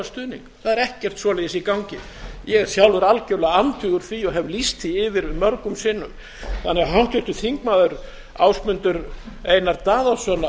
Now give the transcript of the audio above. stuðning það er ekkert svoleiðis í gangi ég er sjálfur algjörlega andvígur því og hef lýst því yfir mörgum sinnum þannig að háttvirtur þingmaður ásmundur einar